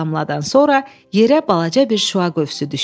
Son damladan sonra yerə balaca bir şüa qövsü düşdü.